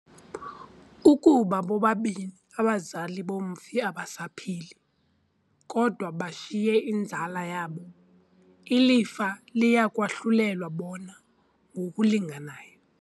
Ukuba bobabini abazali bomfi abasaphili, kodwa bashiye inzala yabo, ilifa liya kwahlulelwa bona ngokulinganayo.